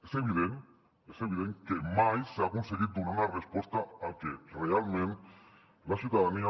és evident és evident que mai s’ha aconseguit donar una resposta al que realment la ciutadania